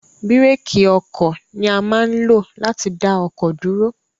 Bireki oko ni a ma nlo lati da oko duro